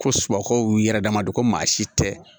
Ko subagaw y'u yɛrɛ dama don ko maa si tɛ